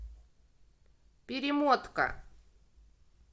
перемотка